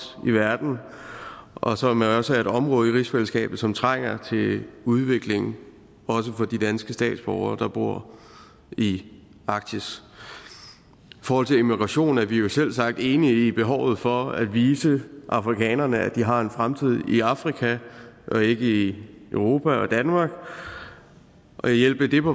i verden og som jo også er et område i rigsfællesskabet som trænger til udvikling også for de danske statsborgere der bor i arktis i forhold til immigration er vi jo selvsagt enige i behovet for at vise afrikanerne at de har en fremtid i afrika og ikke i europa og danmark og hjælpe dem